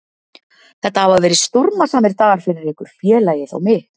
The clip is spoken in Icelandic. Þetta hafa verið stormasamir dagar fyrir ykkur, félagið og mig.